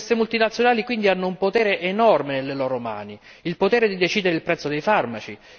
Queste multinazionali hanno quindi un potere enorme nelle loro mani il potere di decidere il prezzo dei farmaci